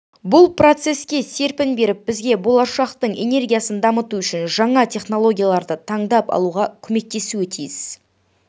бұл процеске серпін беріп бізге болашақтың энергиясын дамыту үшін жаңа технологияларды таңдап алуға көмектесуі тиіс